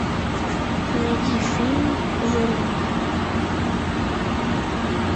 найди фильм воронины